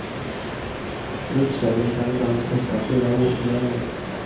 En uppsägning kan ibland kosta flera årslöner.